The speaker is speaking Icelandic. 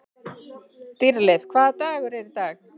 Dýrleif, hvaða dagur er í dag?